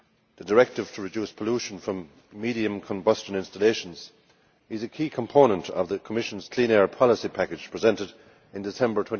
The directive to reduce pollution from medium combustion installations is a key component of the Commission's Clean Air Policy Package presented in December